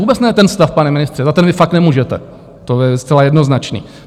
Vůbec ne ten stav, pane ministře, za ten vy fakt nemůžete, to je zcela jednoznačné.